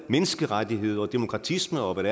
menneskerettigheder og demokratisme og hvad